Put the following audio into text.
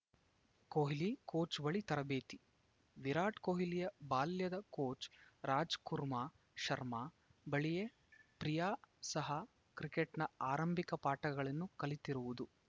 Kohli coach ಬಳಿ ತರಬೇತಿ ವಿರಾಟ್‌ ಕೊಹ್ಲಿಯ ಬಾಲ್ಯದ ಕೋಚ್‌ ರಾಜ್‌ಕುರ್ಮ ಶರ್ಮಾ ಬಳಿಯೇ ಪ್ರಿಯಾ ಸಹ ಕ್ರಿಕೆಟ್‌ನ ಆರಂಭಿಕ ಪಾಠಗಳನ್ನು ಕಲಿತಿರುವುದು